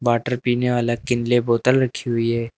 Water पीने वाला Kinley बोतल रखी हुई है।